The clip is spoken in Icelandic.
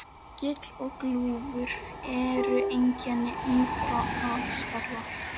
Gil og gljúfur eru einkenni ungra vatnsfalla.